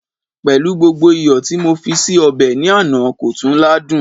pẹlú gbogbo iyo ti mo fi di obe ni Ana, ko tun ladun